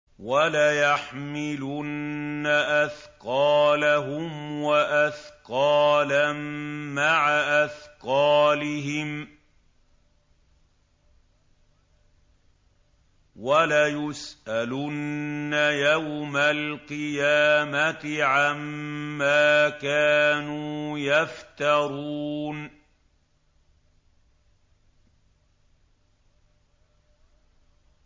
وَلَيَحْمِلُنَّ أَثْقَالَهُمْ وَأَثْقَالًا مَّعَ أَثْقَالِهِمْ ۖ وَلَيُسْأَلُنَّ يَوْمَ الْقِيَامَةِ عَمَّا كَانُوا يَفْتَرُونَ